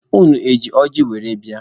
Unu eji ọjị were bịa?